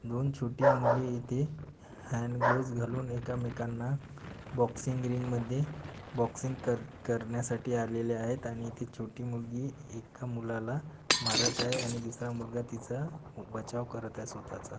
दोन छोटी मुले इथे हँडग्लोव्स घालून एकमेकांना बॉक्सिंग रिंग मध्ये बॉक्सिंग कर करण्यासाठी आलेले आहेत आणि ती छोटी मुलगी एक मुलाला मारत आहे. आणि दूसरा मुलगा तिचा बचाव करत आहे स्वताचा.